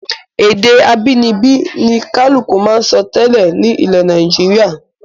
Èdè abínibí ni kálùkù máa ń sọ tẹ́lẹ̀ nù ilẹ̀ Nàìjíríà